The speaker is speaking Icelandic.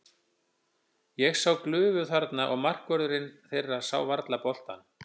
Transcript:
Ég sá glufu þarna og markvörðurinn þeirra sá varla boltann.